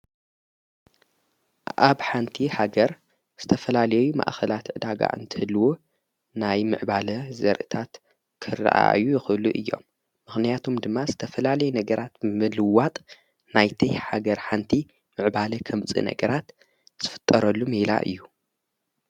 ሜሜምማኣብ ሓንቲ ሃገር ዝተፈላሌዩ ማእኽላት ዕዳጋ እንትልዎ ናይ ምዕባለ ዘርእታት ኽርአዩ ይኽሉ እዮም ምኽንያቶም ድማ ዝተፈላሌይ ነገራት ምልዋጥ ናይተይ ሃገር ሓንቲ ምዕባለ ኸምፂእ ነገራት ዝፍጠረሉ ምላ እዩ።